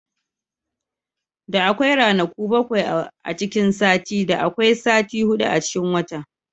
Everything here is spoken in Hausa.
Da akwai ranaku bakwai a cikin sati, da akwai sati hudu a cikin wata.